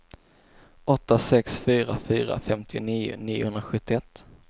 åtta sex fyra fyra femtionio niohundrasjuttioett